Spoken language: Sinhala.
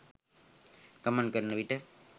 ගමන් කරන විට